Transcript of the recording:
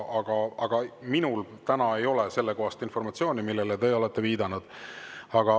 Aga minul täna ei ole informatsiooni selle kohta, millele te olete viidanud.